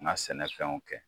N ka sɛnɛ fɛnw kɛ.